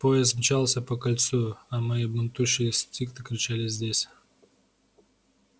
поезд мчался по кольцу а мои бунтующие инстинкты кричали здесь